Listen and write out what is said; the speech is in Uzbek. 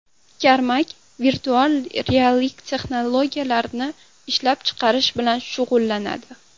Karmak virtual reallik texnologiyalarini ishlab chiqarish bilan shug‘ullanadi.